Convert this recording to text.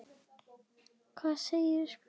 Hvað segja spekingarnir?